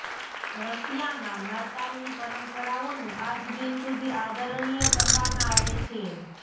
રશિયામાં નાતાલની પરંપરાઓનું આજ દિન સુધી આદરણીય કરવામાં આવે છે